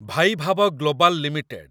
Vaibhav global limited